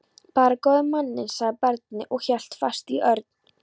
Bara góði manninn, sagði barnið og hélt fast í Örn.